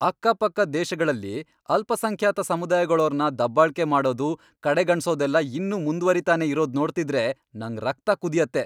ಅಕ್ಕಪಕ್ಕದ್ ದೇಶಗಳಲ್ಲಿ ಅಲ್ಪಸಂಖ್ಯಾತ ಸಮುದಾಯಗಳೋರ್ನ ದಬ್ಬಾಳ್ಕೆ ಮಾಡೋದು, ಕಡೆಗಣ್ಸೋದೆಲ್ಲ ಇನ್ನೂ ಮುಂದ್ವರಿತಾನೇ ಇರೋದ್ ನೋಡ್ತಿದ್ರೆ ನಂಗ್ ರಕ್ತ ಕುದಿಯತ್ತೆ.